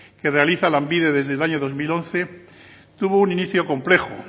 que realiza lanbide desde el año dos mil once tuvo un inicio complejo